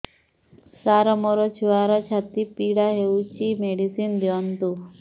ସାର ମୋର ଛୁଆର ଛାତି ପୀଡା ହଉଚି ମେଡିସିନ ଦିଅନ୍ତୁ